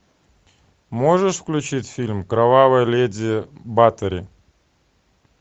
можешь включить фильм кровавая леди батори